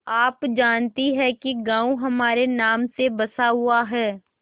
आप जानती हैं कि गॉँव हमारे नाम से बसा हुआ है